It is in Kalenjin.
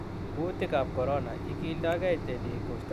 Kuutik ab Corona:Igildogeiei teniik kusto siriret